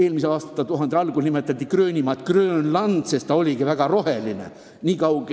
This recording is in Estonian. Eelmise aastatuhande algul nimetati Gröönimaad Grönlandiks, sest ta oligi väga roheline.